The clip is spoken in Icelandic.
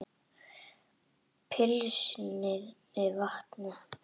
Penslið með vatni.